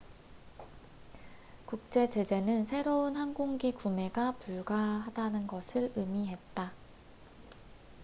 국제 제재는 새로운 항공기 구매가 불가하다는 것을 의미했다